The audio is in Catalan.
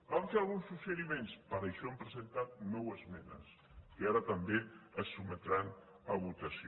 van fer alguns suggeriments per això hem presentat nou esmenes que ara també es sotmetran a votació